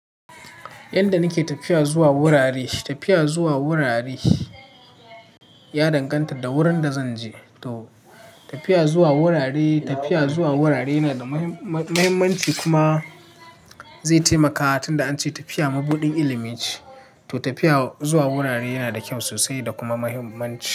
Yanda nake tafiya zuwa wurare, tafiya zuwa wurare ya danganta da wurin da zan je. To tafiya zuwa wurare, tafiya zuwa wurare yana da mahimmanci kuma zai taimaka tun da an ce tafiya mabuɗin ilimi ce. To tafiya zuwa wurare yana da kyau sosai da kuma mahimmanci.